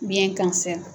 Biyɛn kansa